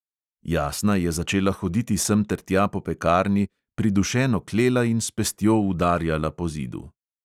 Jasna je začela hoditi semtertja po pekarni, pridušeno klela in s pestjo udarjala po zidu.